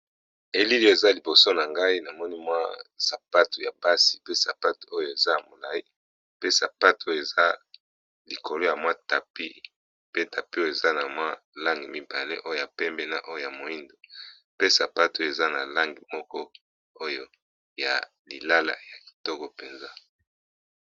Elilo eza liboso na ngai na moni mwa sapato ya basi pe sapato oyo eza molai pe sapato oyo eza likolo ya mwa tapi pe tapi eza na mwa lange mibale oyo ya pembe na oyo ya moindo pe sapato oyo eza na lange moko oyo ya lilala ya kitoko mpenza.